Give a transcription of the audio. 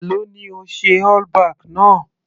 Èló ni o ṣe all back náà.